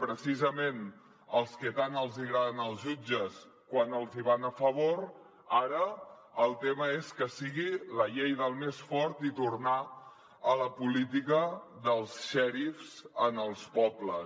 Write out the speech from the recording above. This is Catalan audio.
precisament als que tant els hi agraden els jutges quan els hi van a favor ara el tema és que sigui la llei del més fort i tornar a la política dels xèrifs en els pobles